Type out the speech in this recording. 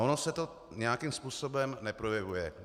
Ono se to nějakým způsobem neprojevuje.